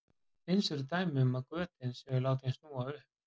Eins eru dæmi um að götin séu látin snúa upp.